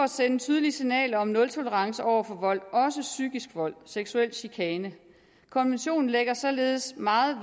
sende tydelige signaler om nultolerance over for vold også psykisk vold seksuel chikane konventionen lægger således meget